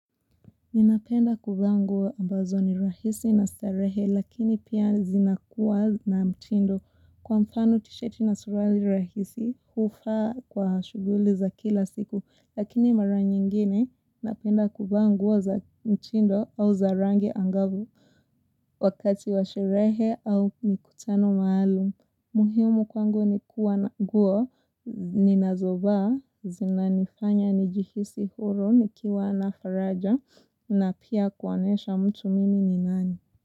Ninapenda kuvaa nguo ambazo ni rahisi na starehe lakini pia zinakuwa na mtindo kwa mfano tisheti na suruali rahisi hufaa kwa shughuli za kila siku lakini mara nyingine napenda kuvaa nguo za mtindo au za rangi angavu wakati wa sherehe au mikutano maalum muhimu kwangu ni kuwa na nguo, ninazovaa, zinanifanya, nijihisi huru, nikiwa na faraja, na pia kuonesha mtu mimi ni nani.